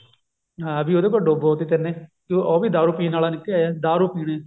ਹਾਂ ਵੀ ਉਹਦੇ ਕੋਲ ਡਬੋਤੇ ਤੇਨੇ ਉਹ ਵੀ ਦਾਰੂ ਪੀਣ ਆਲਾ ਨਿਕਲਿਆ ਦਾਰੂ ਪੀਣੀ